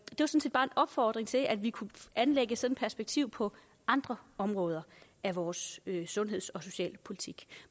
opfordring til at vi kunne anlægge sådan perspektiv på andre områder af vores sundheds og socialpolitik